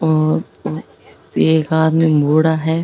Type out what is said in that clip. और एक आदमी बुढ़ा है।